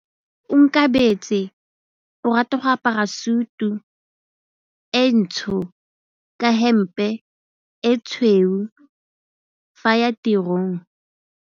Onkabetse o rata go apara sutu e ntsho ka hempe e tshweu fa a ya tirong.